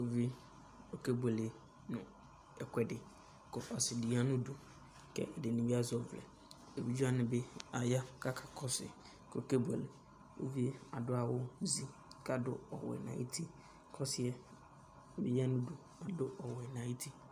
Uvië okébuélé nu ɛkuɛdi kɔ ɔsidi yanudu ƙɛ ɛdinibi azɛ ɔʋlɛ, éʋidjéwanibi aya ka akakɔsu ku okébuélé Uʋié adu awu zi ka dʊ ɔwʊɛ nu ayuti kɔ ɔsiɛ nu uluviwani adu ɔwʊɛ nu ayuti